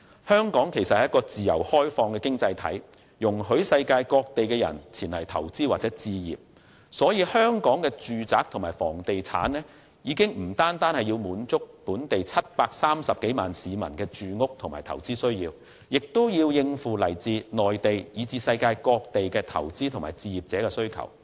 香港是一個自由開放的經濟體，容許世界各地的人前來投資或置業，所以香港的住宅和房地產不止是要滿足本地730多萬市民的住屋和投資需要，亦要應付來自內地以至世界各地的投資者和置業者的需求。